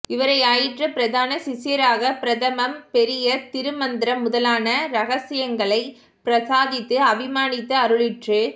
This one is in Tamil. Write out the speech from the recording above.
இவரை யாயிற்று பிரதான சிஷ்யராக பிரதமம் பெரிய திரு மந்த்ரம் முதலான ரஹச்யங்களை பிரசாதித்து அபிமானித்து அருளிற்று